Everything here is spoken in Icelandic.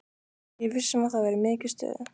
Ég er viss um að það verður mikið stuð.